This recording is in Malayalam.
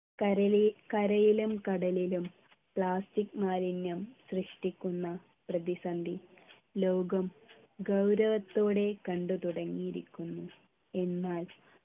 കരളി കരയിലും കടലിലും plastic മാലിന്യം സൃഷ്ടിക്കുന്ന പ്രതിസന്ധി ലോകം ഗൗരവത്തോടെ കണ്ടു തുടങ്ങിയിരിക്കുന്നു എന്നാൽ